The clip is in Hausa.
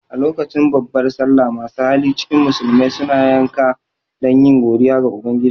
A lokacin babbar sallah masu hali cikin musulmai suna yanka dan yi godiya ga ubangiji